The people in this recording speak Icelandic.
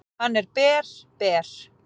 """Hann er ber, ber."""